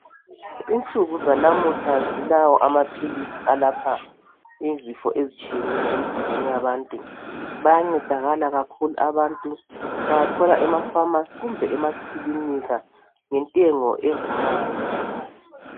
Insuku zanamuhla zilawo amaphilisi alapha izifo ezitshiyeneyo emzimbeni yabantu , bayancedakala kakhulu abantu bawathola emapharmacy kumbe emaklinika ngentengo evumayo